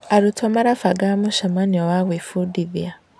Arutwo marabanga mũcemanio wa gwĩbundithia.